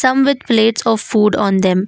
From with plates of food on them.